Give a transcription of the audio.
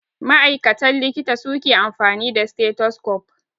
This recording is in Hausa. Ma'aikatan likita suke amfani da stethoscope.